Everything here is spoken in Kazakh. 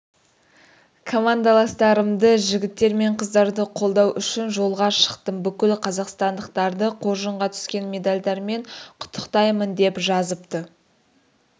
командаластарымды жігіттер мен қыздарды қолдау үшін жолға шықтым бүкіл қазақстандықтарды қоржынға түскен медальдарымен құттықтаймын деп жазыпты